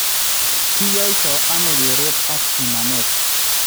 kiyaaito ano kereet ak bimaneet?